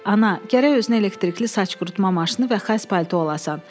Ana, gərək özünə elektrikli saç qurutma maşını və xəz palto alasan.